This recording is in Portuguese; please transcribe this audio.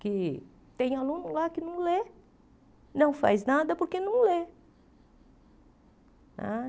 que tem aluno lá que não lê, não faz nada porque não lê não é.